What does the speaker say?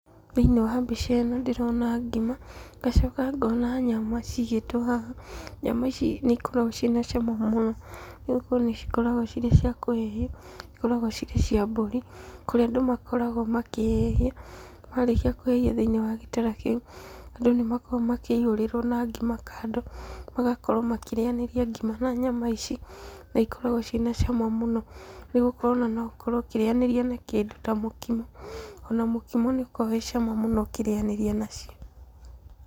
Thĩinĩ wa mbica ĩno ndĩrona ngima, ngacoka ngona nyama cigĩtwo haha. Nyama ici nĩikoragwo na cama mũno tondũ nĩcikoragwo cirĩ cia kũhĩhio. Cikoragwo cirĩ cia mbũri kũrĩa andũ makoragwo makĩhĩhia. Marĩkia kũhĩhia thĩinĩ wa gĩtara kĩu, andũ nĩmakoragwo makĩihũrĩrwo na ngima kando. Magakorwo makĩrĩyanĩria ngima na nyama ici na ikoragwo ciĩna cama mũno nĩgũkorwo no ũkorwo ũkĩrĩyanĩria na kĩndũ ta mũkimo, ona mũkimo nĩũkoragwo wĩ cama mũno ũkĩrĩyanĩria nacio.